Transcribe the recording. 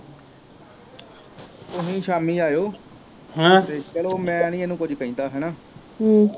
ਤੁਹੀ ਸ਼ਾਮੀ ਆਇਓ ਤੇ ਚਲੋ ਮੈ ਨਹੀਂ ਇਹਨੂੰ ਕੁਝ ਕਹਿੰਦਾ ਹੈਨਾ